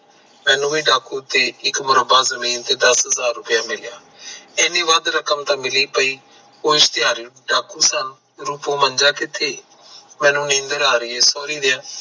ਮੈਨੂੰ ਵੀ ਡਾਕੂ ਤੇ ਇਕ ਮੁਰੱਬਾ ਜਮੀਨ ਤੇ ਦਸ ਹਾਜ਼ਰ ਮਿਲਿਆ ਏਨੀ ਵਾਦ ਰਕਮ ਮਿਲੀ ਪਇ ਕੁਸ਼ ਕੋਸ਼ ਤਿਹਾਰ ਡਾਕੂ ਮੰਜਾ ਕਿਥੇ ਮਨੁ ਨੀਂਦਰ ਆ ਰਹੀ ਥੋੜੀ ਦੇਰ